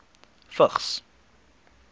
vigs